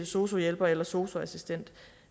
sosu hjælper eller sosu assistent